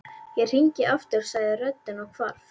Ég hringi aftur sagði röddin og hvarf.